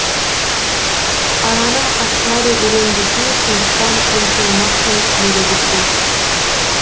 араным ашылады өлең десе сондықтан ұмтылмақпын ерегісе